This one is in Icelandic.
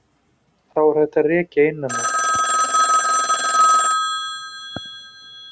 Þá er hægt að rekja innan úr.